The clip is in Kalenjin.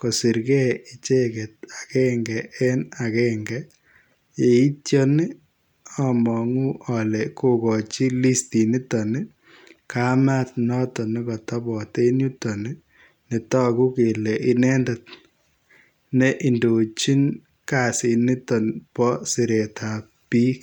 kosirgei ichegeet agenge en agenge yeityaan ii amangu kogochii listiit nitoon ii kameet notoon nekatabaat en yutoon ii ne taguu kele inendet ne indochiin kasiit nitoon bo sireet ab biik.